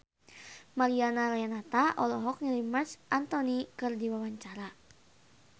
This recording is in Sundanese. Mariana Renata olohok ningali Marc Anthony keur diwawancara